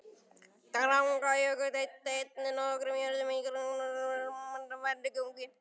Drangajökull eyddi einnig nokkrum jörðum í nágrenni sínu, sennilega mest með vatnagangi.